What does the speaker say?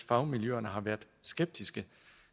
fagmiljøerne har været skeptiske